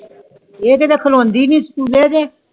ਈ ਤੇ ਹਜੇ ਖਲੋਂਦੀ ਨੀ SCHOOL ਜੇ